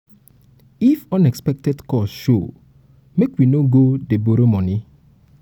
um even um if unexpected cost show make we no go dey borrow money.